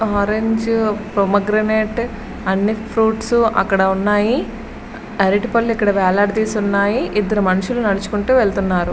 Orange pomegranate అన్ని fruits అక్కడ ఉన్నాయి. అరటి పళ్ళు ఇక్కడ వేలాడదీసి ఇక్కడ ఉన్నాయి. ఇద్దరు మనుషులు ఇక్కడ నడుచుకుంటూ వెళ్తున్నారు.